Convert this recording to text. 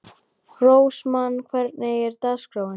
Rósmann, hvernig er dagskráin?